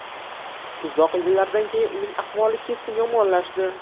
Uzoq yillardan keyin uning ahvoli keskin yomonlashdi.